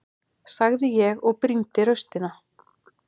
sagði ég og brýndi raustina.